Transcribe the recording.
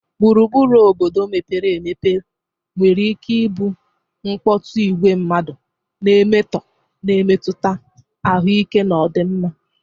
Gburugburu obodo mepere emepe nwere ike ịbụ mkpọtụ, igwe mmadụ, na emetọọ, na-emetụta ahụike na ọdịmma.